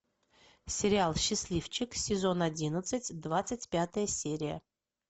сериал счастливчик сезон одиннадцать двадцать пятая серия